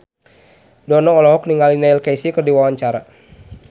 Dono olohok ningali Neil Casey keur diwawancara